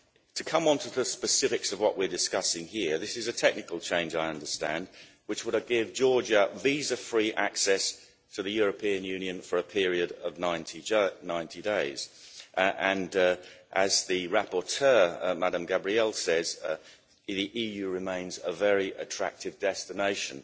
To come onto the specifics of what we're discussing here, this is a technical change, I understand, which would give Georgia visa free access to the European Union for a period of 90 days, and as the rapporteur Ms Gabriel says, the EU remains a very attractive destination.